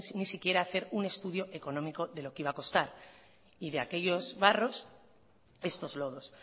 sin ni siquiera hacer un estudio económico de lo que iba a costar y de aquellos barros estos lodos